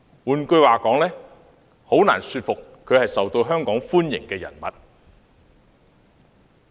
換言之，他的做法令人難以信服他是受香港歡迎的人物。